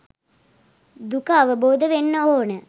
දුක අවබෝධ වෙන්න ඕන